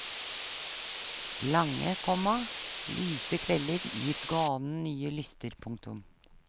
Lange, komma lyse kvelder gir ganen nye lyster. punktum